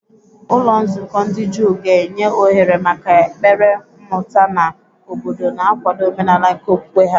Ụlọ nzukọ ndị Juu ga-enye ohere maka ekpere, mmụta, na obodo, na-akwado omenala nke okwukwe ha.